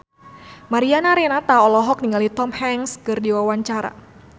Mariana Renata olohok ningali Tom Hanks keur diwawancara